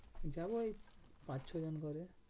যাবো এই পাঁচ ছ জন যাবো।